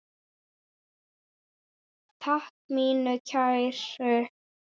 Takk mín kæru.